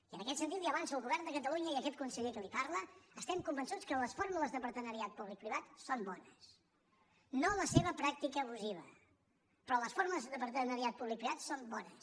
i en aquest sentit li ho avanço el govern de catalunya i aquest conseller que li parla estem convençuts que les fórmules de partenariat públic privat són bones no la seva pràctica abusiva però les formes de partenariat públic privat són bones